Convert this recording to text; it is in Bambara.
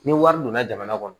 Ni wari donna jamana kɔnɔ